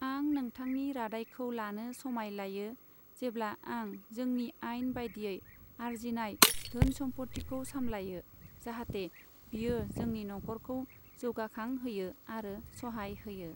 आं नोंथांनि रादाइखौ लानो समाय लायो, जेब्ला आं जोंनि आइन बायदियै आरजिनाय धोन समफथिखौ सामलायो, जाहाते बियो जोंनि नखरखौ जौगाखां होयो आरो स'हाय होयो।